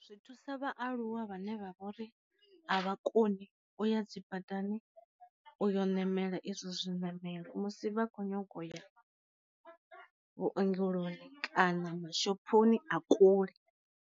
Zwi thusa vha aluwa vhane vha vhori a vha koni u ya dzibadani uyo namela izwo zwi namelo musi vha kho nyaga u ya vhuongeloni kana ma shophoni a kule.